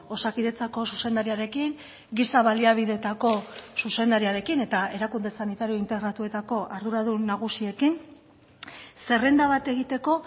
osakidetzako zuzendariarekin giza baliabidetako zuzendariarekin eta erakunde sanitario integratuetako arduradun nagusiekin zerrenda bat egiteko